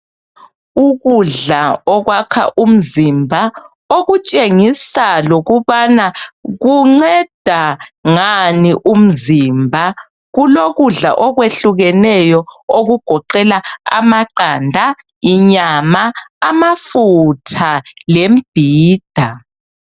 Ukudla okwakha umzimba okutshengisa lokubana kunceda ngani umzimba kulokudla okwehlukeneyo okugoqela amaqanda, inyama, amafutha lembhida.